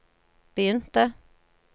begynte